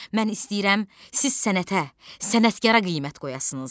Mən istəyirəm, siz sənətə, sənətkara qiymət qoyasınız.